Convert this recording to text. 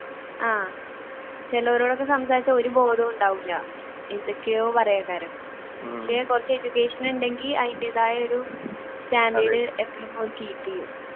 ആഹ് ചിലവരോടൊക്കെ സംസാരിച്ചാൽ ഒരു ബോധവും ഉണ്ടാവില്ല എന്തൊക്കെയോ പക്ഷെ കുറച്ചു education ഉണ്ടെങ്കിൽ അതിന്റെയായായൊരു standard എപ്പഴും അവർ keep ചെയ്യും